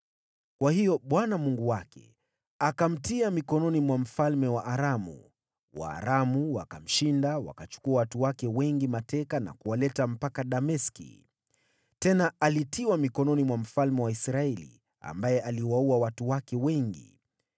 Kwa hiyo Bwana Mungu wake akamtia mikononi mwa mfalme wa Aramu. Waaramu wakamshinda, wakachukua watu wake wengi mateka na kuwaleta mpaka Dameski. Tena alitiwa mikononi mwa mfalme wa Israeli, ambaye aliwaua watu wake wengi.